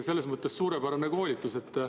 Selles mõttes suurepärane koolitus.